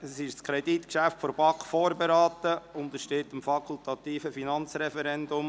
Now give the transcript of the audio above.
Dieses Kreditgeschäft wurde von der BaK vorberaten und untersteht dem fakultativen Finanzreferendum.